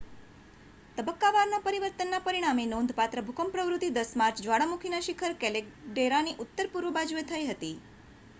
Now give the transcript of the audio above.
તબક્કાવાર પરિવર્તનના પરિણામે નોંધપાત્ર ભૂકંપ પ્રવૃત્તિ 10 માર્ચે જ્વાળામુખીના શિખર કેલ્ડેરાની ઉત્તર-પૂર્વ બાજુએ થઈ હતી